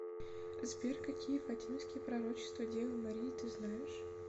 сбер какие фатимские пророчества девы марии ты знаешь